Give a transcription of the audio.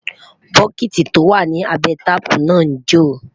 bokiti tó wà nì abé taààpu nà njo